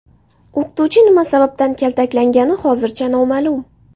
O‘qituvchi nima sababdan kaltaklangani hozircha noma’lum.